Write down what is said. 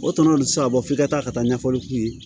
O tana bɛ se ka bɔ f'i ka taa ka taa ɲɛfɔli k'u ye